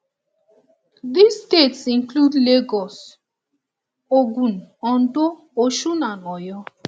dis states include lagos ogun ondo osun and oyo